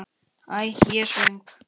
Æ, ég er svo svöng.